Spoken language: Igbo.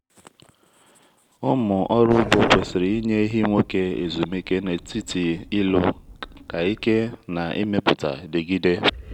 ahụ́ike ịmụpụta dị mkpa mgbe a na-ahọrọ ewumewụ ma ọ bụ ehi dochiri.